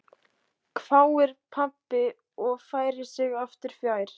hváir pabbi og færir sig aftur fjær.